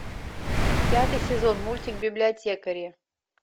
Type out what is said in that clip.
пятый сезон мультик библиотекари